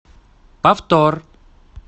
повтор